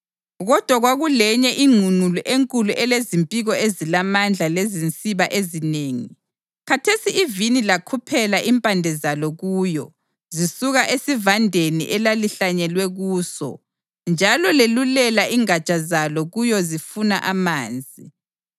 Kodwa kwakulenye ingqungqulu enkulu elezimpiko ezilamandla lezinsiba ezinengi. Khathesi ivini lakhuphela impande zalo kuyo zisuka esivandeni elalihlanyelwe kuso njalo lelulela ingatsha zalo kuyo zifuna amanzi.